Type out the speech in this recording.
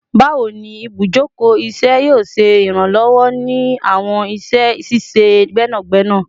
Bawo ni ibujoko iṣẹ yoo ṣe iranlọwọ ni awọn iṣẹ ṣiṣe gbẹnagbẹna?